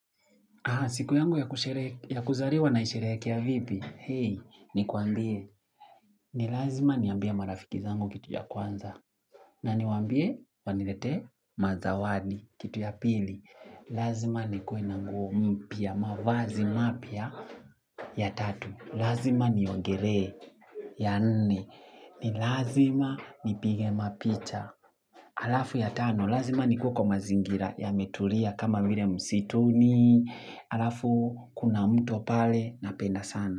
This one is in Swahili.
Siku yangu ya kuzaliwa na isherehekea vipi. Hei, ni kwambie. Ni lazima niambie marafiki zangu kitu ya kwanza. Na niwambie wanilete mazawani kitu ya pili. Lazima nikuwe na nguo mpya mavazi mapya ya tatu. Lazima niogele ya nne. Ni lazima nipige mapicha. Alafu ya tano. Lazima nikue mazingira yametulia kama vile msituni. Halafu kuna mto pale napenda sana.